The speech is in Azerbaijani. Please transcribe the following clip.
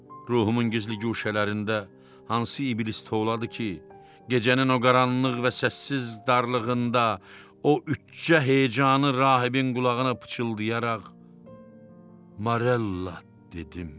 Ruhumun gizli guşələrində hansı iblis tovladı ki, gecənin o qaranlıq və səssiz darlığında o üçcə hecanı rahibin qulağına pıçıldayaraq Morella dedim.